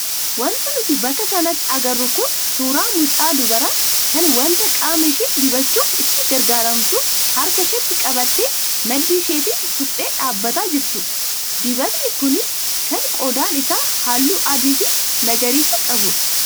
Wanti nuti bakka kanatti agarru kun suuraa mucaa dubaraa kan wanta qaama ishee dibachuuf itti gargaaramtu harka isheetti qabattee maddii isheetiin tuqxee dhaabbataa jirtudha. Dibatni kunis kan qodaan isaa halluu adii fi magariisa qabdha.